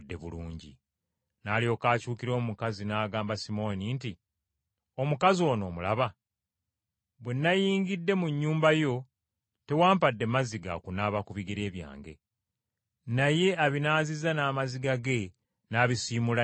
N’alyoka akyukira omukazi n’agamba Simooni nti, “Omukazi ono omulaba? Bwe nayingidde mu nnyumba yo, tewampadde mazzi ga kunaaba ku bigere byange. Naye abinaazizza n’amaziga ge n’abisiimuula n’enviiri ze.